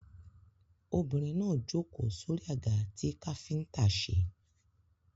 Obìnrin náà jókòó sórí àga tí káfíńtà ṣe